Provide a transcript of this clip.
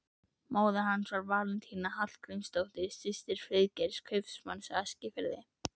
Móðir hans var Valentína Hallgrímsdóttir, systir Friðgeirs, kaupmanns á Eskifirði.